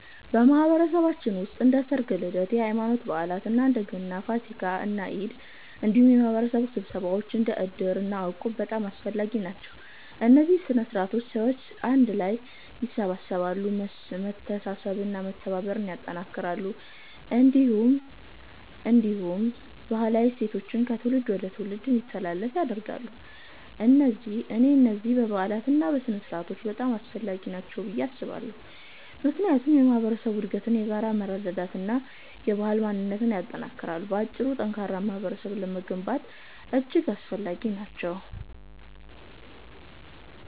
በማህበረሰባችን ውስጥ እንደ ሠርግ፣ ልደት፣ የሃይማኖት በዓላት (እንደ ገና፣ ፋሲካ እና ኢድ)፣ እንዲሁም የማህበረሰብ ስብሰባዎች እንደ እድር እና እቁብ በጣም አስፈላጊ ናቸው። እነዚህ ሥነ ሥርዓቶች ሰዎችን አንድ ላይ ያሰባስባሉ፣ መተሳሰብን እና መተባበርን ያጠናክራሉ፣ እንዲሁም ባህላዊ እሴቶችን ከትውልድ ወደ ትውልድ እንዲተላለፉ ያደርጋሉ። እኔ እነዚህን በዓላትና ሥነ ሥርዓቶች በጣም አስፈላጊ ናቸው ብዬ አስባለሁ፣ ምክንያቱም የማህበረሰብ አንድነትን፣ የጋራ መረዳዳትን እና የባህል ማንነትን ያጠናክራሉ። በአጭሩ፣ ጠንካራ ማህበረሰብ ለመገንባት እጅግ አስፈላጊ ናቸው።